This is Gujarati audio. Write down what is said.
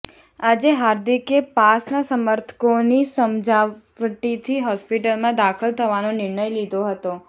અાજે હાર્દિકે પાસના સમર્થકોની સમજાવટથી હોસ્પિટલમાં દાખલ થવાનો નિર્ણય લીધો હતો